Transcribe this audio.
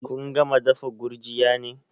Kun gama dafa gurjiya ne?